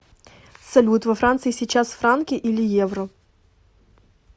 салют во франции сейчас франки или евро